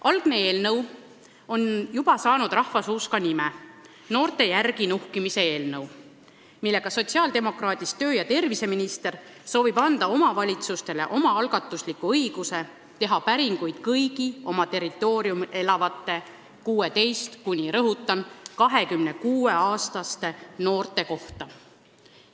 Algne eelnõu on endale juba rahvasuus nime saanud: noorte järgi nuhkimise eelnõu, millega sotsiaaldemokraadist tervise- ja tööminister soovib anda omavalitsustele omaalgatusliku õiguse teha päringuid kõigi oma territooriumil elavate 16–26-aastaste noorte kohta.